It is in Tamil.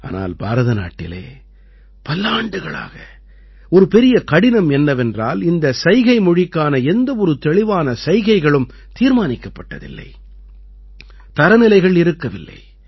ஆனால் பாரதநாட்டிலே பல்லாண்டுகளாக ஒரு பெரிய கடினம் என்னவென்றால் இந்தச் சைகை மொழிக்கான எந்தவொரு தெளிவான சைகைகளும் தீர்மானிக்கப்பட்டதில்லை தரநிலைகள் இருக்கவில்லை